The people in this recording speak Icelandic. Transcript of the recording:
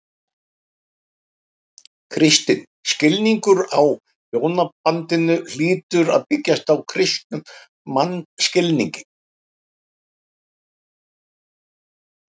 Kristinn skilningur á hjónabandinu hlýtur að byggjast á kristnum mannskilningi.